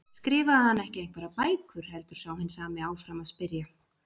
Skrifaði hann ekki einhverjar bækur? heldur sá hinn sami áfram að spyrja.